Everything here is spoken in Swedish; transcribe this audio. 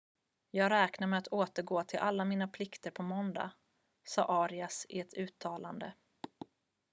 """jag räknar med att återgå till alla mina plikter på måndag" sade arias i ett uttalande.